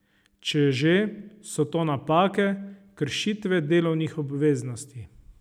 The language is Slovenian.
Če že, so to napake, kršitve delovnih obveznosti.